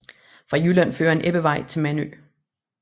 Fra Jylland fører en ebbevej til Mandø